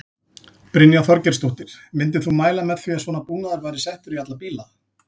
Brynja Þorgeirsdóttir: Myndir þú mæla með því að svona búnaður væri settur í alla bíla?